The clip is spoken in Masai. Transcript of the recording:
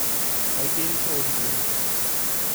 Aigerishe oleng.